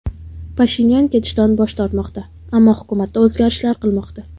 Pashinyan ketishdan bosh tortmoqda, ammo hukumatda o‘zgarishlar qilmoqda.